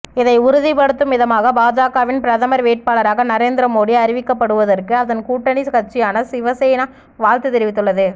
இதை உறுதிப்படுத்தும் விதமாக பாஜகவின் பிரதமர் வேட்பாளராக நரேந்திர மோடி அறிவிக்கப்படுவதற்கு அதன் கூட்டணிக் கட்சியான சிவசேனா வாழ்த்து தெரிவித்துள்ளது